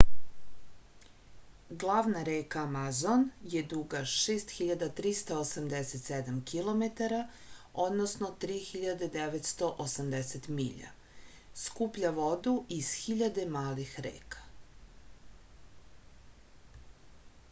главна река амазон је дуга 6387 km 3980 миља. скупља воду из хиљаде малих река